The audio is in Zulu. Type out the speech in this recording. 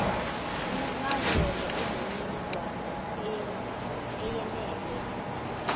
incazelo eneminingwane eyenele